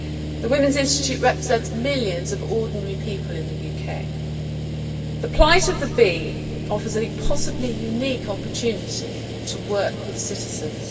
The Women's Institute represents millions of ordinary people in the UK. The plight of the bee offers a possibly unique opportunity to work with citizens.